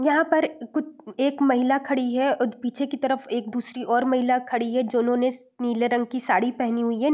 यहां पर कु एक महिला खड़ी है और पीछे की तरफ दूसरी एक और महिला खड़ी है जिन्होंने नीले रंग की साड़ी पहनी हुई है।